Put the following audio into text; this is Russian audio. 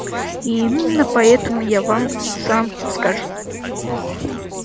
и именно поэтому я вам сам скажу